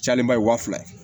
Cayalen ba ye wa fila ye